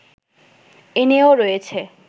এ নিয়েও রয়েছে